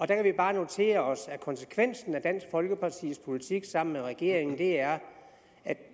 der kan vi bare notere os at konsekvensen af dansk folkepartis politik sammen med regeringens er at